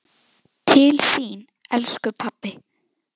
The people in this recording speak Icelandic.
Til þín, elsku pabbi.